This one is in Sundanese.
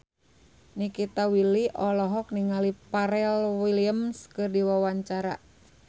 Nikita Willy olohok ningali Pharrell Williams keur diwawancara